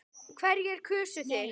Hverjir kusu þig?